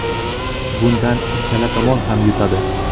Bundan ikkala tomon ham yutadi.